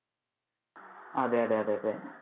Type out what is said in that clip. അതെ അതെ അതെ അതെ.